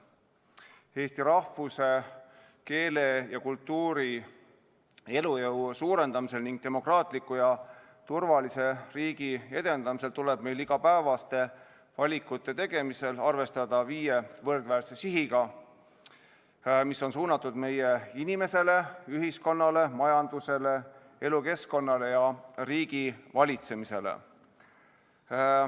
Eesti rahvuse, keele ja kultuuri elujõu suurendamisel ning demokraatliku ja turvalise riigi edendamisel tuleb meil igapäevaste valikute tegemisel arvestada viie võrdväärse sihiga, mis on suunatud meie inimesele, ühiskonnale, majandusele, elukeskkonnale ja riigivalitsemisele.